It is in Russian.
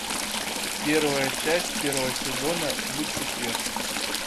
первая часть первого сезона люцифер